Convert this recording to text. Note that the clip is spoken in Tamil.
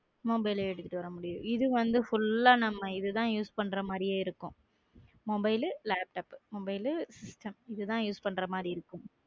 Mobile எடுத்துட்டு வர முடியாது இது வந்து full ஆ நம்ம இதுதான் use பண்ற மாரியே இருக்கும் mobile உ laptop, mobile உ system இதுதான் use பன்ற மாரி இருக்கும்